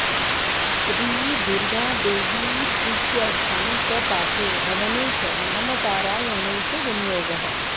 श्रीदुर्गादेवीप्रीत्यर्थं च पाठे हवने च नामपारायणे च विनियोगः